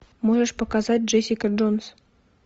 можешь показать джессика джонс